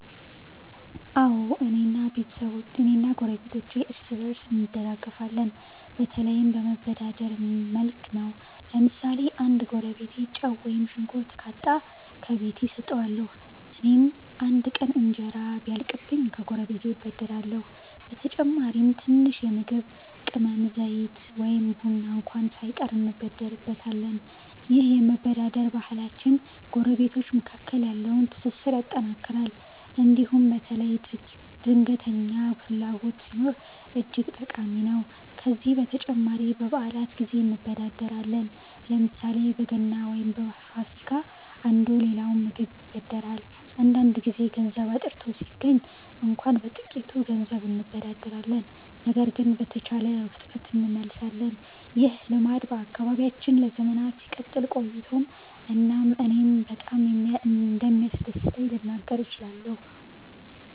አዎ፣ እኔ እና ጎረቤቶቼ እርስ በእርስ እንደጋፈፋለን፤ በተለይም በመበዳደር መልክ ነው። ለምሳሌ አንድ ጎረቤቴ ጨው ወይም ሽንኩርት ካጣ፣ ከቤቴ እሰጠዋለሁ። እኔም አንድ ቀን እንጀራ ቢያልቅኝ ከጎረቤቴ እበደርሃለሁ። በተጨማሪም ትንሽ የምግብ ቅመም፣ ዘይት ወይም ቡና እንኳ ሳይቀር እንበደርበታለን። ይህ የመበዳደር ባህላችን ጎረቤቶች መካከል ያለውን ትስስር ያጠናክራል እንዲሁም በተለይ ድንገተኛ ፍላጎት ሲኖር እጅግ ጠቃሚ ነው። ከዚህ በተጨማሪ በበዓላት ጊዜ እንበዳደራለን፤ ለምሳሌ በገና ወይም በፋሲካ አንዱ ሌላውን በምግብ ይበድራል። አንዳንድ ጊዜ ገንዘብ አጥርቶ ሲገኝ እንኳ በጥቂት ገንዘብ እንበዳደራለን ነገር ግን በተቻለ ፍጥነት እንመልሳለን። ይህ ልማድ በአካባቢያችን ለዘመናት ሲቀጥል ቆይቷል እናም እኔ በጣም እንደሚያስደስት ልናገር እችላለሁ።